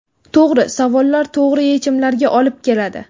To‘g‘ri savollar to‘g‘ri yechimlarga olib keladi.